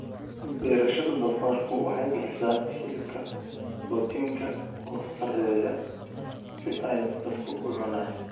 Beerashada doofaarku waxay bixisaa hilibka borotiinka oo sarreeya si ay dadku u cunaan.